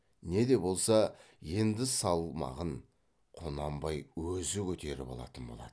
не де болса енді салмағын құнанбай өзі көтеріп алатын болады